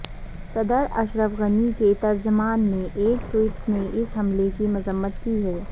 صدر اشرف غنی کے ترجمان نے ایک ٹوئیٹ میں اس حملے کی مذمت کی ہے